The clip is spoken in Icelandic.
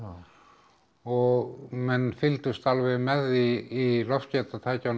og menn fylgdust alveg með því í